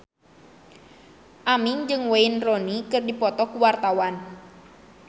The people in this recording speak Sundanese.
Aming jeung Wayne Rooney keur dipoto ku wartawan